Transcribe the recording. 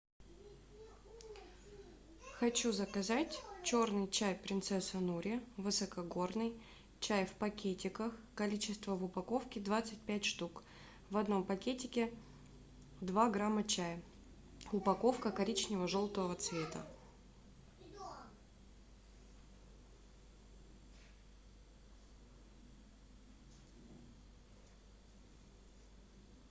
хочу заказать черный чай принцесса нури высокогорный чай в пакетиках количество в упаковке двадцать пять штук в одном пакетике два грамма чая упаковка коричнево желтого цвета